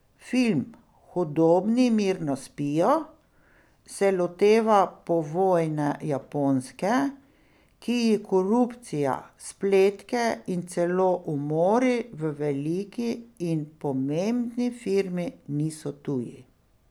Film Hudobni mirno spijo se loteva povojne Japonske, ki ji korupcija, spletke in celo umori v veliki in pomembni firmi niso tuji.